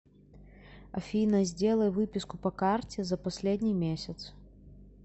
афина сделай выписку по карте за последний месяц